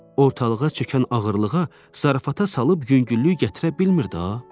Ortalığa çökən ağırlığa zarafata salıb yüngüllük gətirə bilmirdi axı?